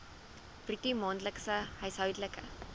bruto maandelikse huishoudelike